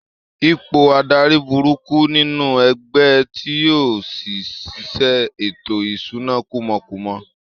Ipò adarí burúkú nínú ẹgbẹ́ ti yọrí sí ṣíṣe ètò ìṣúná kúmọkúmọ